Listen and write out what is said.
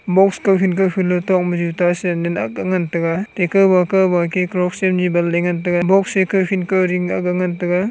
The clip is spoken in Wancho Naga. box kaw khen khen tok ma juta sandal akk ga ngan tega ata kowba kowba ke crocks banle ngan tega box e kowkhen kowding aak ga ngan tega.